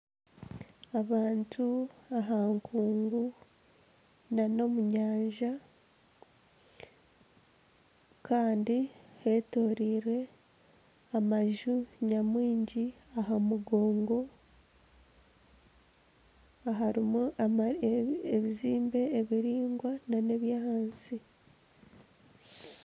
Abantu aha nkungu nana omu nyanja kandi hetoroirwe amaju nyamwingi aha mugongo aharimu ebizimbe ebiraingwa nana eby'ahansi.